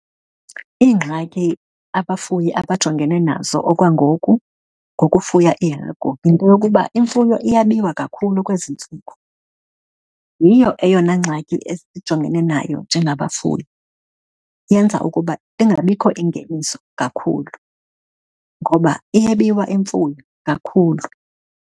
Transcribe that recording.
Iingxaki abafuyi abajongene nazo okwangoku ngokufuya iihagu yinto yokuba imfuyo iyabiwa kakhulu kwezi ntsuku. Yiyo eyona ngxaki esijongene nayo njengabafuyi, yenza ukuba ingabikho ingeniso kakhulu, ngoba iyebiwa imfuyo kakhulu.